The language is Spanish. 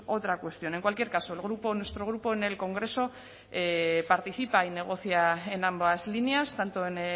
otra cuestión en cualquier caso el grupo nuestro grupo en el congreso participa y negocia en ambas líneas tanto en